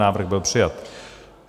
Návrh byl přijat.